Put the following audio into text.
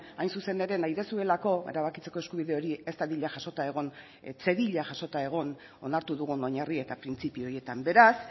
hain zuzen ere nahi duzuelako erabakitzeko eskubide hori ez dadila jasota egon ez zedila jasota egon onartu dugun oinarri eta printzipio horietan beraz